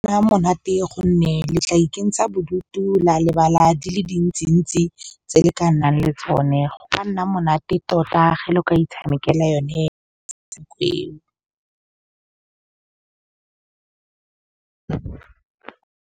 monate gonne le tla ikentsha bodutu la lebala di le dintsi ntsi tse le ka nnang le tsone go ka nna monate tota ge le ka itshamekela yone .